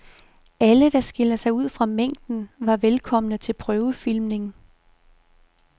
Alle, der skiller sig ud fra mængden, var velkomne til prøvefilmning.